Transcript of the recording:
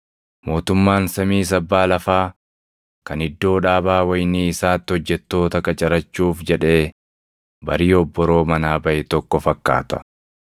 “Mootummaan samiis abbaa lafaa kan iddoo dhaabaa wayinii isaatti hojjettoota qacarachuuf jedhee barii obboroo manaa baʼe tokko fakkaata.